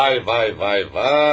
Vay, vay, vay, vay!